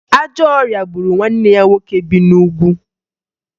Ajọ ọrịa gburu nwanne ya nwoke bi n'Ugwu